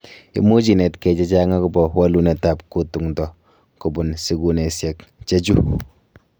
Imuch inetkei chechang agobo walunet ab kutung�ndo kobun sigunesiek chechu.